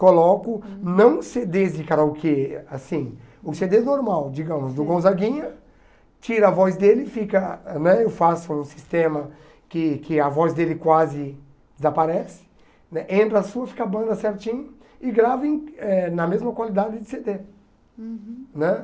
Coloco, não cê dês de karaokê, assim, o cê dê normal, digamos, do Gonzaguinha, tiro a voz dele, fica né eu faço um sistema que que a voz dele quase desaparece, né entra a sua, fica a banda certinho, e gravo em na mesma qualidade de cê dê. Uhum. Né?